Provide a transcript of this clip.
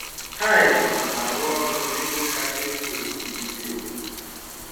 Haide na-arụ ọrụ nebe kacha ekwo ekwo nisi obodo.